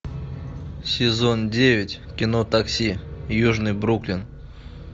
сезон девять кино такси южный бруклин